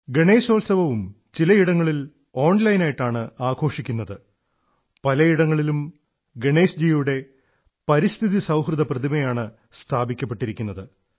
ഗണേശോത്സവവും ചിലയിടങ്ങളിൽ ഓൺലൈനായിട്ടാണ് ആഘോഷിക്കുന്നത് പലയിടങ്ങളിലും പരിസ്ഥിതി സൌഹൃദ ഗണേശ്ജി പ്രതിമയാണ് സ്ഥാപിക്കപ്പെട്ടിരിക്കുന്നത്